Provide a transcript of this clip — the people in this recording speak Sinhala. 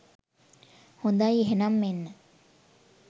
හොඳයි එහෙනම් මෙන්න